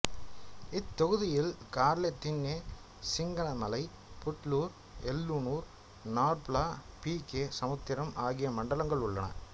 இத்தொகுதியில் Garladinne Singanamala Putlur Yellanur Narpala B K Samudram ஆகிய மண்டலங்கள் உள்ளன